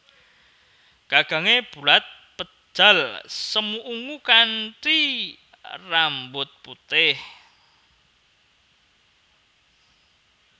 Gagangé bulat pejal semu ungu kanthi rambut putih